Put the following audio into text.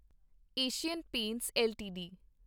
Asian Paints LTD